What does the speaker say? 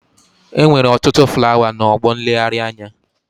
Enwere otutu flawa na ọgbọ nleghari anya.